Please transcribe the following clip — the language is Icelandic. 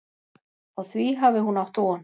Á því hafi hún átt von.